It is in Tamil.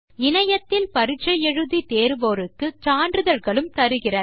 இணையத்தில் பரிட்சை தேர்வோருக்கு சான்றிதழ்களும் தருகிறது